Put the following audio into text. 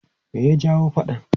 Me ya jawo faɗan?